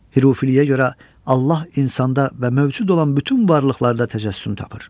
Hürufiliyə görə Allah insanda və mövcud olan bütün varlıqlarda təcəssüm tapır.